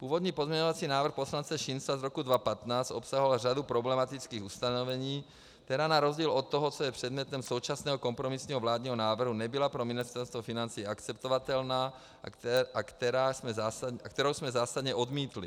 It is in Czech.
Původní pozměňovací návrh poslance Šincla z roku 2015 obsahoval řadu problematických ustanovení, která na rozdíl od toho, co je předmětem současného kompromisního vládního návrhu, nebyla pro Ministerstvo financí akceptovatelná a kterou jsme zásadně odmítli.